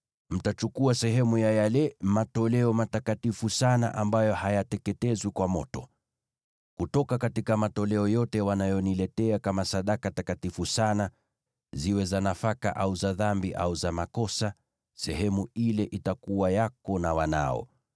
Mtachukua sehemu ya yale matoleo matakatifu sana ambayo hayateketezwi kwa moto. Kutoka kwa matoleo yote wanayoniletea kama sadaka takatifu sana, ziwe za nafaka, au za dhambi, au za makosa, sehemu ile itakuwa yako na wanao.